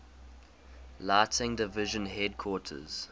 lighting division headquarters